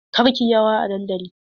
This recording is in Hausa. Kar ki yi rawa a dandali!